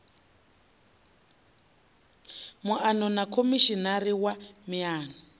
muano na khomishinari wa miano